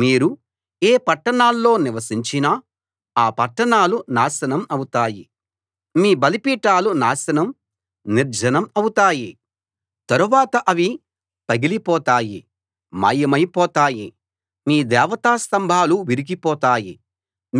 మీరు ఏ పట్టణంలో నివసించినా ఆ పట్టణాలు నాశనం అవుతాయి మీ బలిపీఠాలు నాశనం నిర్జనం అవుతాయి తరువాత అవి పగిలి పోతాయి మాయమై పోతాయి మీ దేవతా స్తంభాలు విరిగిపోతాయి